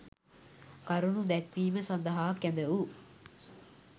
කරුණු දැක්වීම සඳහා කැඳවු